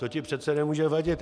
To ti přece nemůže vadit.